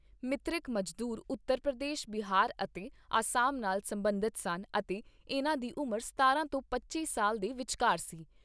ਮ੍ਰਿਤਕ ਮਜ਼ਦੂਰ ਉਤਰ ਪ੍ਰਦੇਸ਼, ਬਿਹਾਰ ਅਤੇ ਆਸਾਮ ਨਾਲ ਸਬੰਧਤ ਸਨ ਅਤੇ ਇਨ੍ਹਾਂ ਦੀ ਉਮਰ ਸਤਾਰਾਂ ਤੋਂ ਪੱਚੀ ਸਾਲ ਦੇ ਵਿਚਕਾਰ ਸੀ।